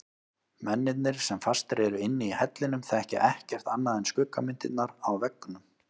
Mennirnir sem fastir eru inni í hellinum þekkja ekkert annað en skuggamyndirnar á veggnum.